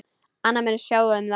Aðrir munu sjá um það.